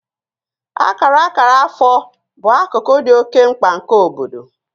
Akara akara afọ bụ akụkụ dị oke mkpa nke obodo